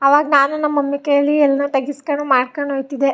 ಆವಾಗ್ ನಾನು ನಮ್ಮ್ ಮಮ್ಮಿ ಕೈಲಿ ಎಲ್ಲಾ ತೆಗೆಸ್ಕೊಣ್ ಮಾಡಕೊಂಡ್ ಹೋಯ್ ತ್ತಿದ್ದೆ.